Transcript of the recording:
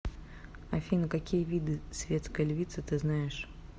афина какие виды светская львица ты знаешь